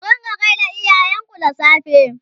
ku rinƙa gaida iyayen ku da safe!